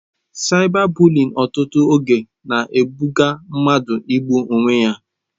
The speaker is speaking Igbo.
Saịba bụliịn ọtụtụ oge na-eduga mmadụ igbu onwe ya.